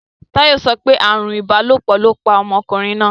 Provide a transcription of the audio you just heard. Táyò sopé ààrùn ìbálòpò lóo pa omokùnrin náà.